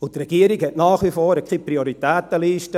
Die Regierung hat nach wie vor keine Prioritätenliste.